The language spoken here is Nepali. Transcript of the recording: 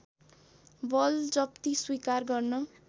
बलजफ्ती स्वीकार गर्न